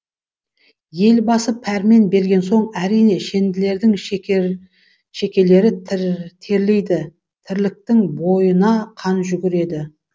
елбасы пәрмен берген соң әрине шенділердің шекелері терлейді тірліктің бойына қан жүгіреді